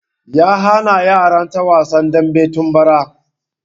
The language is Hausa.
Ya hana yaran ta wasan dambe tun bara